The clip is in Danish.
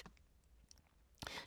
DR2